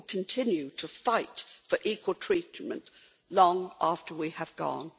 We will continue to fight for equal treatment long after we have gone.